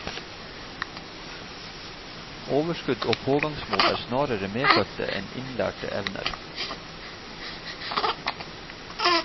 Overskudd og pågangsmot er snarere medfødte enn innlærte evner.